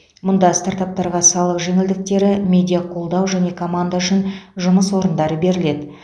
мұнда стартаптарға салық жеңілдіктері медиа қолдау және команда үшін жұмыс орындары беріледі